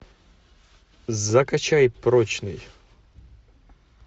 закачай прочный